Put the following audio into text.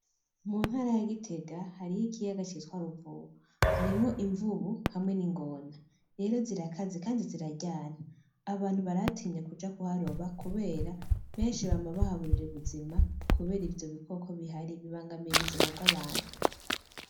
Mu ntara ya gitega hariho ikiyaga citwa ruvubu harimwo imvubu hamwe n'ingona rero zirakaze kandi ziraryana abantu barahatinya kuja kuharoba kubera benshi bama bahaburira ubuzima kubera ivyo bikoko bihari bibangamiye ubuzima bw'abantu.